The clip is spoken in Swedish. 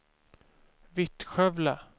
Vittskövle